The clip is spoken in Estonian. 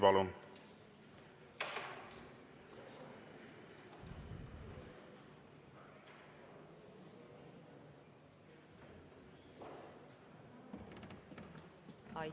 Palun!